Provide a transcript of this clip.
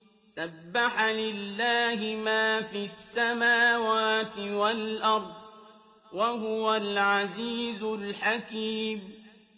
سَبَّحَ لِلَّهِ مَا فِي السَّمَاوَاتِ وَالْأَرْضِ ۖ وَهُوَ الْعَزِيزُ الْحَكِيمُ